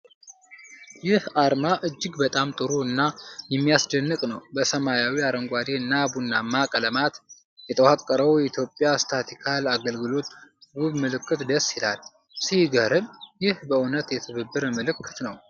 ይህ አርማ እጅግ በጣም ጥሩ እና የሚያስደንቅ ነው! በሰማያዊ፣ አረንጓዴ እና ቡናማ ቀለማት የተዋቀረው የኢትዮጵያ ስታትስቲካል አገልግሎት ውብ ምልክት ደስ ይላል። ሲገርም! ይህ በእውነት የትብብር ምልክት ነው።